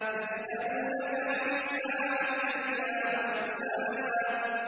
يَسْأَلُونَكَ عَنِ السَّاعَةِ أَيَّانَ مُرْسَاهَا